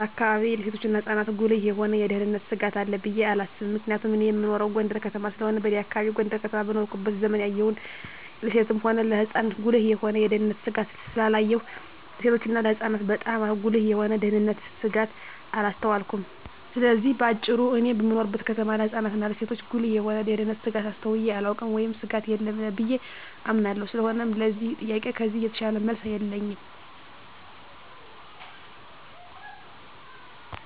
በአካባቢየ ለሴቶችና ለህጻናት ጉልህ የሆነ የደህንነት ስጋት አለ ብየ አላስብም ምክንያቱም እኔ እምኖረው ጎንደር ከተማ ስለሆነ በኔ አካባቢ ጎንደር ከተማ በኖርኩበት ዘመን ያየሁን ለሴትም ሆነ ለህጻን ጉልህ የሆነ የደህንነት ስጋት ስላላየሁ ለሴቶችና ለህጻናት ባጣም ጉልህ የሆነ የደንነት ስጋት አላስተዋልኩም ስለዚህ በአጭሩ እኔ በምኖርበት ከተማ ለህጻናት እና ለሴቶች ጉልህ የሆነ የደህንነት ስጋት አስተውየ አላውቅም ወይም ስጋት የለም ብየ አምናለሁ ስለሆነም ለዚህ ጥያቄ ከዚህ የተሻለ መልስ የለኝም።